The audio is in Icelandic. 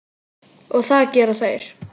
Og það gera þeir.